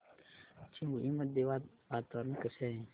चिंबळी मध्ये आज वातावरण कसे आहे